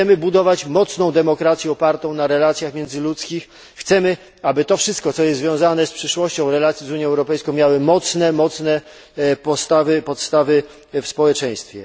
Chcemy budować mocną demokrację opartą na relacjach międzyludzkich, chcemy, aby to wszystko, co jest związane z przyszłością relacji z Unią Europejską, miało mocne podstawy w społeczeństwie.